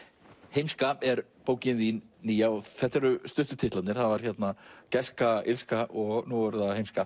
heimska er bókin þín nýja og þetta eru stuttu titlarnir það var gæska illska og nú er það heimska